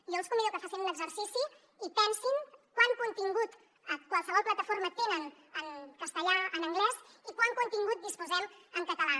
jo els convido a que facin un exercici i pensin quant contingut a qualsevol plataforma tenen en castellà en anglès i de quant contingut disposem en català